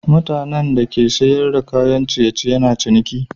Mutanan da ke sana'ar saida kayan ciye ciye na ciniki